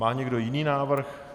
Má někdo jiný návrh?